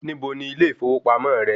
Níbo ni ilé ìfowópamọ́ rẹ?